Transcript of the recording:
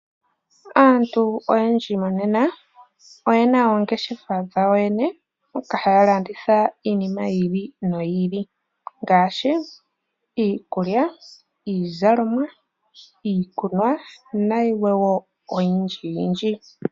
Aantu oyendji monena oyena oongeshefa dhawo yene moka haya landitha iinima yi ili noyi ili ngaashi iikulya, iikunwa, iizalomwa nayilwe oyindji.